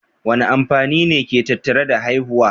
Wane amfani ne ke tattare da haihuwa?